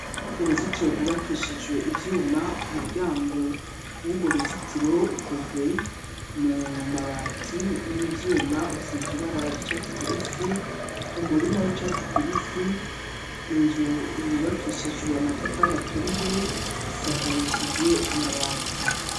Uruzitiro rwubakishijwe ivyuma ,umuryango wurwo ruzitiro, ukozwe mu mabati n'ivyuma, usiz ibibara ry 'icatsi kibisi, umurima w'icatsi kibisi ,inzu yubakishijwe amatafari aturiye ,isakarishijwe Amabati.